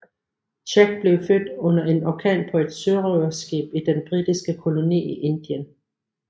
Jack blev født under en orkan på et sørøverskib i den britiske koloni i Indien